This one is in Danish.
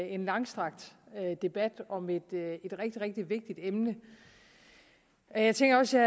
en langstrakt debat om et rigtig rigtig vigtigt emne og jeg tænker også